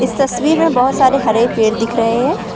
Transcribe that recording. तस्वीर में बहोत सारे हरे पेड़ दिख रहे हैं।